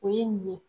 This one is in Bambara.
O ye nin ye